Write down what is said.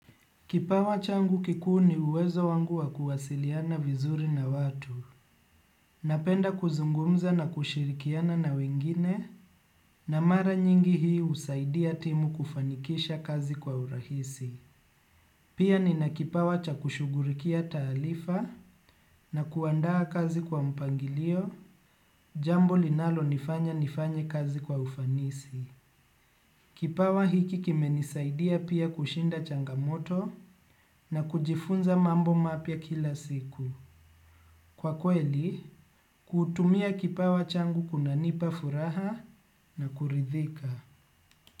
Kipawa changu kikuu ni uwezo wangu wa kuwasiliana vizuri na watu. Napenda kuzungumza na kushirikiana na wengine na mara nyingi hii husaidia timu kufanikisha kazi kwa urahisi. Pia nina kipawa cha kushughulikia taarifa na kuandaa kazi kwa mpangilio, jambo linalonifanya nifanye kazi kwa ufanisi. Kipawa hiki kimenisaidia pia kushinda changamoto na kujifunza mambo mapya kila siku. Kwa kweli, kutumia kipawa changu kunanipa furaha na kuridhika.